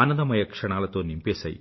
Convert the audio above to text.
అనందమయ క్షణాలతో నింపేసాయి